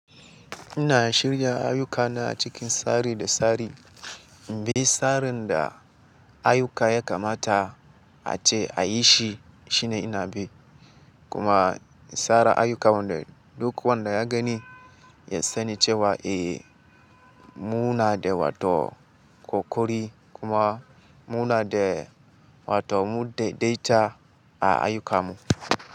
Ina shirya ayuka na cikin tsari da tsari, bi tsarin da ayuka ya kamata ace a yi shi shine ina bi. Kuma tsara aiyuka wanda duk wanda ya gani ya sani cewa, eh mu na da wato ƙoƙari kuma mu na da wato mu daidai ta a aiyuka mu.